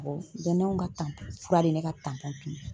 ganayɛnw ka fura de ye ne ka tunun